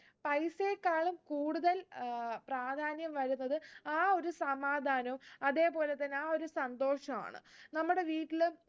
പൈസയേക്കാളും കൂടുതൽ ഏർ പ്രാധാന്യം വരുന്നത് ആ ഒരു സമാധാനോം അതെ പോലെത്തന്നെ ആ ഒരു സന്തോഷു ആണ് നമ്മുടെ വീട്ടില്